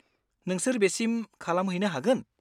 नोंसोर बेसिम खालामहैनो हागोन?